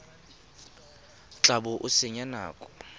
tla bo o senya nako